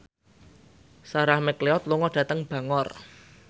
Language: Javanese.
Sarah McLeod lunga dhateng Bangor